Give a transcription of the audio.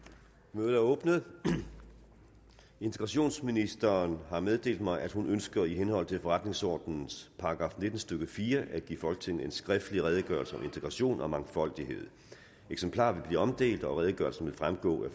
mødet er åbnet integrationsministeren har meddelt mig at hun ønsker i henhold til forretningsordenens § nitten stykke fire at give folketinget en skriftlig redegørelse om integration og mangfoldighed eksemplarer vil blive omdelt og redegørelsen vil fremgå af